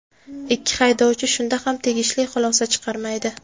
Ikki haydovchi shunda ham tegishli xulosa chiqarmaydi.